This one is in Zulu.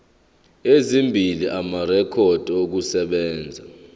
ezimbili amarekhodi okusebenza